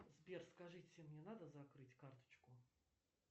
сбер скажите мне надо закрыть карточку